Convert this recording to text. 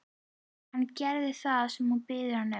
Hann gerir það sem hún biður hann um.